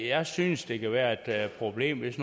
jeg synes der kan være et problem hvis